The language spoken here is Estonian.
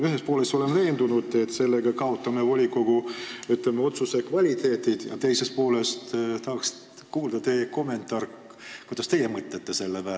Ühest küljest ma olen veendunud, et sellega me kaotame volikogu otsuste kvaliteedis, aga teisest küljest tahaksin kuulda teie kommentaari, kuidas teie mõtlete selle peale.